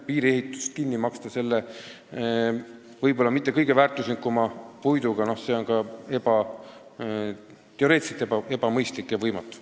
Piiriehitust kinni maksta selle mitte kõige väärtuslikuma puidu rahaga – noh, see on ka teoreetiliselt võimatu.